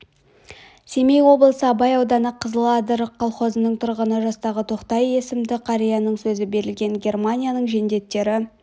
семей облысы абай ауданы қызыл адыр колхозының тұрғыны жастағы тоқтай есімді қарияның сөзі берілген германияның жендеттері